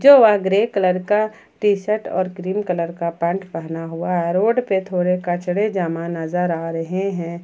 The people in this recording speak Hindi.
जो वह ग्रे कलर का टी_शर्ट और क्रीम कलर का पैंट हुआ है रोड पे थोड़े कचरे जमा नजर आ रहे हैं।